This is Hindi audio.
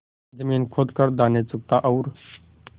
जमीन खोद कर दाने चुगता और